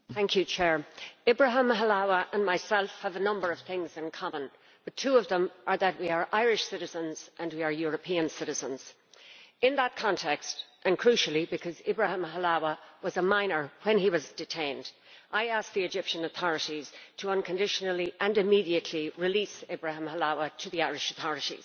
Mr President, Ibrahim Halawa and myself have a number of things in common. Two of them are that we are Irish citizens and we are European citizens. In that context, and crucially because Ibrahim Halawa was a minor when he was detained, I would ask the Egyptian authorities to unconditionally and immediately release Ibrahim Halawa to the Irish authorities.